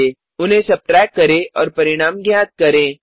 उन्हें subtract subtract करें और परिणाम ज्ञात करें